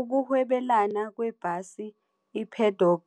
Ukuhwebelana kwebhasi iBedok